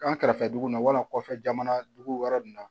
An kɛrɛfɛ dugu la wala kɔfɛ jamana dugu wɛrɛ na